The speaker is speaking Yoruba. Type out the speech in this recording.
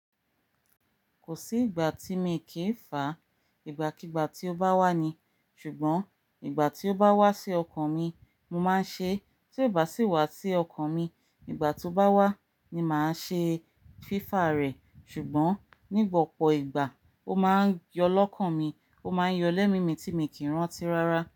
Kò sí ìgbà tí mi kì í fàá, ìgbàkígbà tí ó bá wá ni, ṣùgbọ́n ìgbà tí ó bá wá sí ọkàn mi, mo máa ń ṣe, tí ò bá sì wá sí ọkàn mi, ìgbà tí ó bá wá ni màá ṣe fífàá rẹ̀, ṣùgbọ́n nígbà opọ̀ ìgbà, ó máa ń yọ lọ́kàn mi, ó máa ń yọlẹ́ mi mí ti mi kì n rántí rárá.